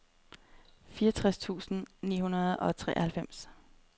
fireogtres tusind ni hundrede og treoghalvfems